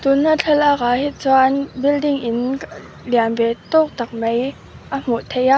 tuna thlalak ah hi chuan building in lianve tawk tak mai a hmuh theih a--